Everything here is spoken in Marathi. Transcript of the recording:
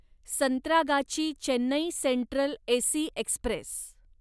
Santragachi Chennai central AC Express